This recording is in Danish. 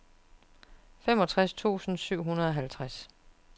femogtres tusind syv hundrede og halvtreds